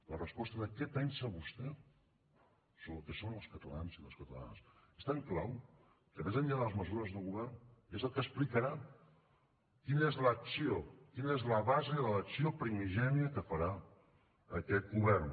la resposta de què pensa vostè sobre el que són els catalans i les catalanes és tan clau que més enllà de les mesures de govern és el que explicarà quina és l’acció quina és la base de l’acció primigènia que farà aquest govern